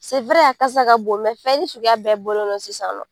a kasa ka bon fɛn ni suguya bɛɛ bɔlen don sisan nɔ.